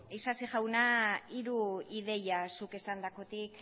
isasi jauna hiru ideia zuk esandakotik